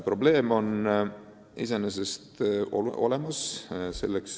Probleem on iseenesest olemas.